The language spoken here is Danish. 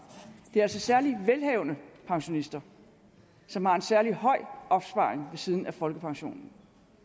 det er altså særlig velhavende pensionister som har en særlig høj opsparing ved siden af folkepensionen